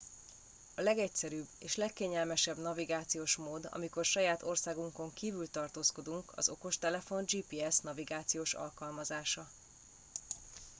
a legegyszerűbb és legkényelmesebb navigációs mód amikor saját országunkon kívül tartózkodunk az okostelefon gps nagivációs alkalmazása